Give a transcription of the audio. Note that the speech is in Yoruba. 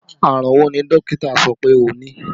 Àrùn wo ni dókítà sọ pé o ní?